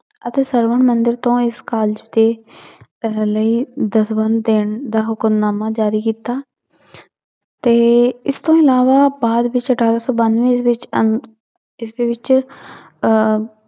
ਅਤੇ ਤੋਂ ਇਸ college ਦੀ ਦਸਵੰਧ ਦੇਣ ਦਾ ਹੁਕਮਨਾਮਾ ਜ਼ਾਰੀ ਕੀਤਾ ਤੇ ਇਸ ਤੋਂ ਇਲਾਵਾ ਅਠਾਰਾਂ ਸੌ ਬਾਨਵੇਂ ਵਿੱਚ ਅਹ ਇਸਦੇ ਵਿੱਚ ਅਹ